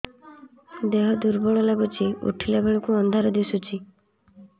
ଦେହ ଦୁର୍ବଳ ଲାଗୁଛି ଉଠିଲା ବେଳକୁ ଅନ୍ଧାର ଦିଶୁଚି